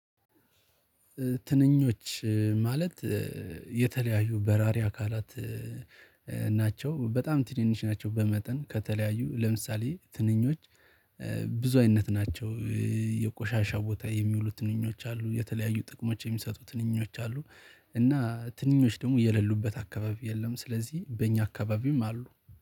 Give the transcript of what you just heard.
ትንኞች ማለት የተለያዩ በራሪ አካላት ናቸው በጣም ትንንሽ ናቸው በመጠን ከተለያዩ ለምሳሌ ትንኞች ብዙአይነት ናቸው። የቆሻሻ ቦታ የሚውሉት ትንኞች አሉ የተለያዩ ጥቅሞች የሚሰጡት ትንኞች አሉ እና ትንኞች ደግሞ የሌሉበት አካባቢ የለም። ስለዚህ በእኛ አካባቢም አሉ